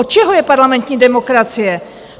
Od čeho je parlamentní demokracie?